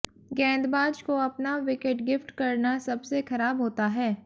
गेंदबाज को अपना विकेट गिफ्ट करना सबसे खराब होता है